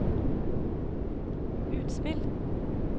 utspill